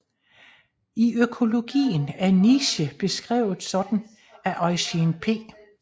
I økologien er niche beskrevet sådan af Eugene P